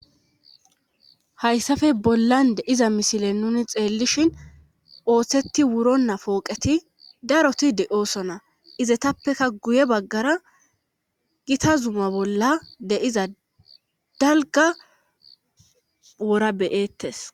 Hayssafe bollan de iza misile nuni xeellishin ooththetti wuro na pooqeti daroti de'ooso na izatappeka guye baggara gita zuma bolla deiza dalga wora beyettes.